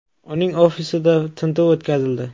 Uning ofisida tintuv o‘tkazildi.